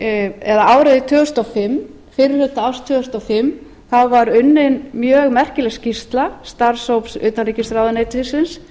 því fyrri hluta árs tvö þúsund og fimm var unnin mjög merkileg skýrsla starfshóps utanríkisráðuneytisins